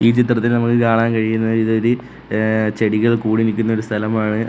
ഈ ചിത്രത്തിൽ നമുക്ക് കാണാൻ കഴിയുന്നത് ഇതൊര് ഏഹ് ചെടികൾ കൂടി നിക്കുന്ന ഒരു സ്ഥലമാണ്.